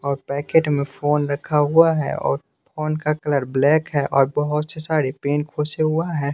और पैकेट में फोन रखा हुआ है और फोन का कलर ब्लैक है और बहुत से सारे पेंट खोसे हुआ है।